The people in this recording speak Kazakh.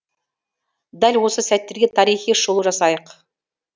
дәл осы сәттерге тарихи шолу жасайық